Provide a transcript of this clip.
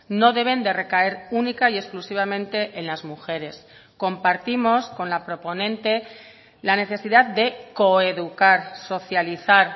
no deben de recaer única y exclusivamente en las mujeres compartimos con la proponente la necesidad de co educar socializar